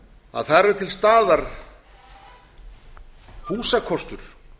að þar er til staðar húsakostur